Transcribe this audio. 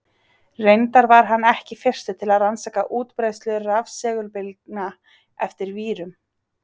Reyndar var hann ekki fyrstur til að rannsaka útbreiðslu rafsegulbylgna eftir vírum.